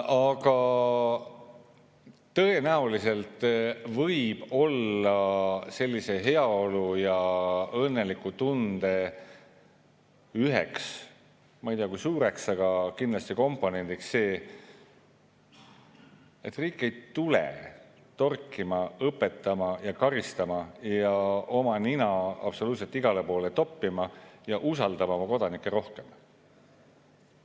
Aga tõenäoliselt võib heaolu- ja õnnetunde üks – ma ei tea, kui suur, aga kindlasti üks – komponent olla see, et riik ei tule torkima, õpetama, karistama ega oma nina absoluutselt igale poole toppima ning usaldab oma kodanikke rohkem.